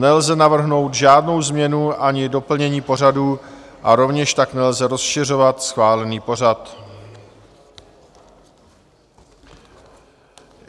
Nelze navrhnout žádnou změnu ani doplnění pořadu a rovněž tak nelze rozšiřovat schválený pořad.